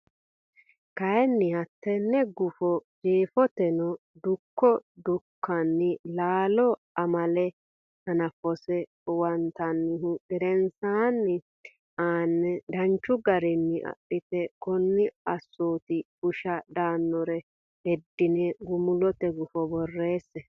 kayinni hattenne gufo Jeefoteno Dukko Dukkani Laalo amaale hanafose huwattinihu gedensanni aane danchu garinni adhite kuni assooti busha daannore heddine gumulote gufo borreesse.